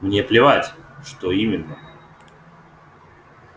мне плевать что именно